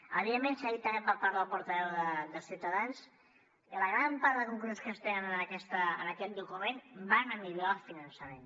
evidentment s’ha dit també per part del portaveu de ciutadans que la gran part de conclusions que es treuen en aquest document van a millorar el finançament